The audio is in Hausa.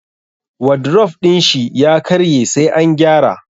Wadrof din shi ya karye sai an gyara.